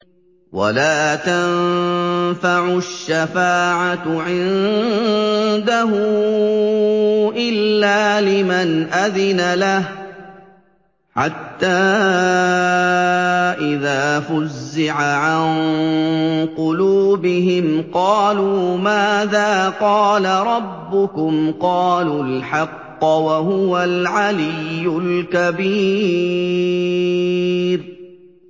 وَلَا تَنفَعُ الشَّفَاعَةُ عِندَهُ إِلَّا لِمَنْ أَذِنَ لَهُ ۚ حَتَّىٰ إِذَا فُزِّعَ عَن قُلُوبِهِمْ قَالُوا مَاذَا قَالَ رَبُّكُمْ ۖ قَالُوا الْحَقَّ ۖ وَهُوَ الْعَلِيُّ الْكَبِيرُ